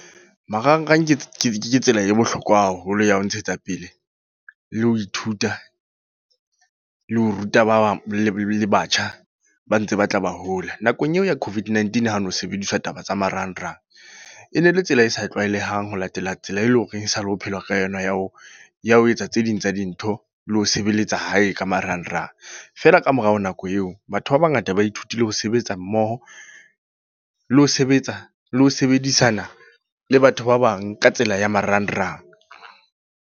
Marangrang ke tsela e bohlokwa haholo ya ho ntshetsa pele, le ho ithuta. Le ho ruta babang le batjha, ba ntse ba tla ba hola. Nakong eo ya COVID-19 ha ho no sebediswa taba tsa marangrang. E ne le tsela e sa tlwaelehang ho latela tsela e leng horeng e sa le ho phelwa ka yona. Ya ho ya ho etsa tse ding tsa dintho, le ho sebeletsa hae ka marangrang. Feela ka morao nako eo. Batho ba bangata ba ithutile ho sebetsa mmoho, le ho sebetsa, le ho sebedisana le batho ba bang ka tsela ya marangrang.